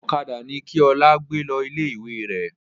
Ọ̀kadà ni kí Ọlá gbé lọ ilé ìwé rẹ̀!